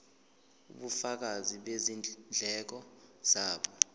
ubufakazi bezindleko zabo